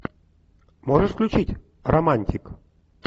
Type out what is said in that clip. можешь включить романтик